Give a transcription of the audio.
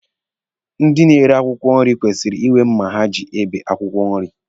Ndị na-ere akwụkwọ nri kwesịrị inwe mma ha ji ebe akwụkwọ nri.